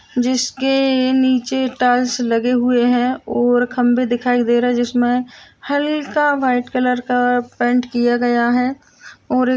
जिसके नीचे टाइल्स लगे हुए है और खंभे दिखाई दे रहे है जिसमें हल्का व्हाइट कलर का पेंट किया गया है और--